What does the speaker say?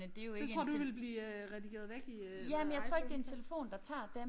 Det tror du ville blive øh redigeret væk i øh hvad iPhones